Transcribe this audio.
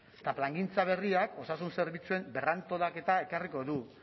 eta plangintza berriak osasun zerbitzuen berrantolaketa ekarriko du